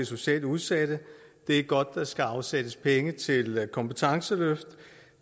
socialt udsatte det er godt der skal afsættes penge til kompetenceløft